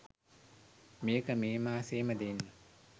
මේක මේ මාසේම දෙන්න